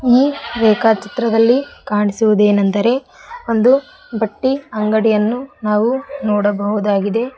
ಈ ರೇಖಾಛಿತ್ರದಲ್ಲಿ ಕಾಣಿಸುವದೆನೆಂದರೆ ಒಂದು ಬಟ್ಟಿ ಅಂಗಡಿಯನು ನಾವು ನೋಡಬಹುದಾಗಿದೆ.